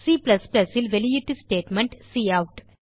Cல் வெளியீட்டு statement cout